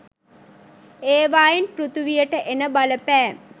ඒවායෙන් පෘතුවියට එන බලපෑම්